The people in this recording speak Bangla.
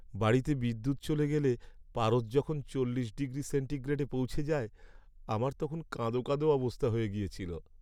বাড়িতে বিদ্যুৎ চলে গেলে পারদ যখন চল্লিশ ডিগ্রি সেন্টিগ্রেডে পৌঁছে যায়, আমার তখন কাঁদো কাঁদো অবস্থা হয়ে গিয়েছিল।